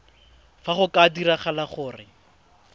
fa go ka diragala gore